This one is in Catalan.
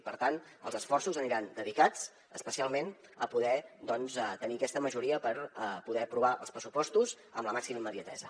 i per tant els esforços aniran dedicats especialment a poder doncs tenir aquesta majoria per poder aprovar els pressupostos amb la màxima immediatesa